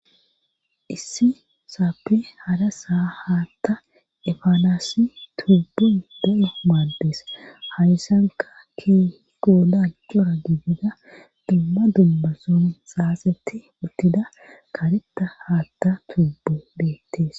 issi saappe hada saa haatta efaanasi tubbun de7o maaddees harisanka kee gooda cora gigida dumma dummason saasetti uttida karetta haatta tubbu beettees